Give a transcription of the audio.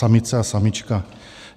Samice a samička.